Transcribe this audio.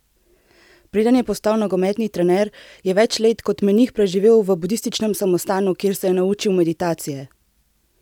Preden je postal nogometni trener je več let kot menih preživel v budističnem samostanu, kjer se je naučil meditacije.